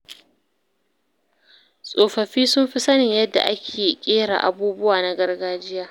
Tsofaffi sun fi sanin yadda ake ƙera abubuwa na gargajiya.